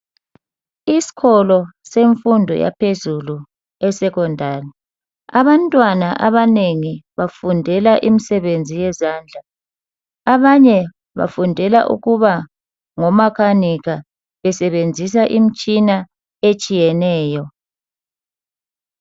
Isikolo semfundo yaphezulu e secondary abantwana abanengi bafundela imisebenzi yezandla abanye bafundela ukuba ngomakanika besebenzisa imitshina etshiyeneyo